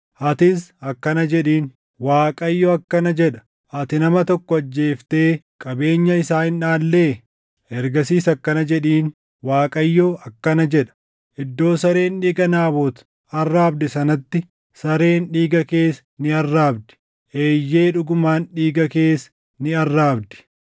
Atis akkana jedhiin: ‘ Waaqayyo akkana jedha; ati nama tokko ajjeeftee qabeenya isaa hin dhaallee?’ Ergasiis akkana jedhiin; ‘ Waaqayyo akkana jedha: Iddoo sareen dhiiga Naabot arraabde sanatti sareen dhiiga kees ni arraabdi; eeyyee dhugumaan dhiiga kees ni arraabdi!’ ”